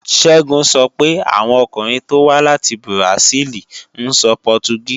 Ṣẹ́gun sọ pé àwọn ọkùnrin tó wá láti Bùràsíìlì ń sọ Pọtugí